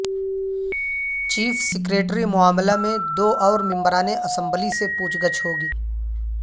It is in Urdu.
چیف سکریٹری معاملہ میں دو اور ممبران اسمبلی سے پوچھ گچھ ہوگی